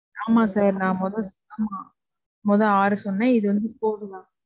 ஆமா sir. ஆமா. நான் மொத, ஆமா. மொத ஆறு சொன்னேன், இப்போ வந்து நாலு.